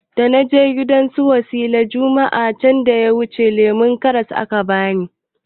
Dana je gidan su wasila juma'a can da yawuce lemon karras aka bani